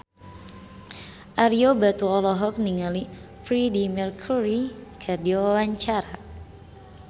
Ario Batu olohok ningali Freedie Mercury keur diwawancara